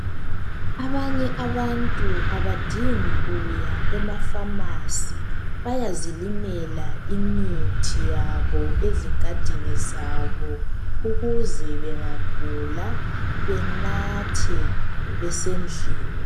Abanye abantu abadingi kuya emaKhemisi bayazilimela imithi yabo ezingadini zabo ukuze bengagula benathe besendlini.